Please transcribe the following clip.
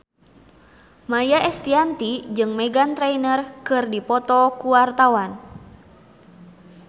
Maia Estianty jeung Meghan Trainor keur dipoto ku wartawan